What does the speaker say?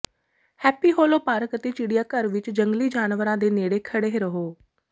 happy Hollow park ਅਤੇ ਚਿੜੀਆਘਰ ਵਿਚ ਜੰਗਲੀ ਜਾਨਵਰਾਂ ਦੇ ਨੇੜੇ ਖੜ੍ਹੇ ਰਹੋ